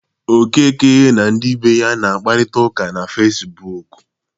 Okeke na ndị be ya na-akparita ụka na Fecibuuku.